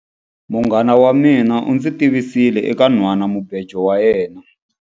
Munghana wa mina u ndzi tivisile eka nhwanamubejo wa yena.